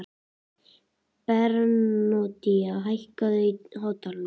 Bernódía, hækkaðu í hátalaranum.